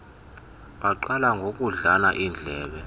baqala ngokudlana iindlebe